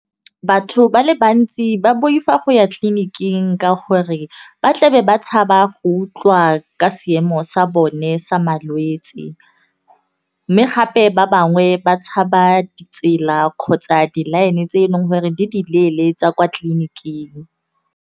Batho ba le bantsi ba boifa go ya tleliniking ka gore, ba tla be ba tshaba go utlwa ka seemo sa bone sa malwetse, mme gape ba bangwe ba tshaba ditsela kgotsa di-line tse e leng gore di di leele tsa kwa tleliniking.